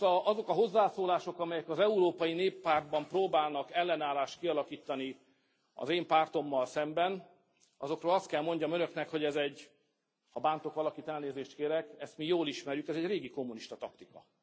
Azok a hozzászólások, amelyek az Európai Néppártban próbálnak ellenállást kialakítani az én pártommal szemben, azokról azt kell mondjam Önöknek, hogy ez egy ha bántok valakit, elnézést kérek, ezt mi jól ismerjük ez egy régi kommunista taktika.